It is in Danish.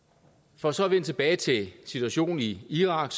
for så at vende tilbage til situationen i irak